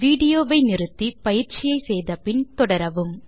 video வை நிறுத்தி பயிற்சியை செய்து முடித்து பின் தொடரவும்